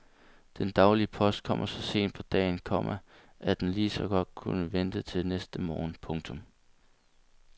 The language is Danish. Den daglige post kommer så sent på dagen, komma at den lige så godt kunne vente til næste morgen. punktum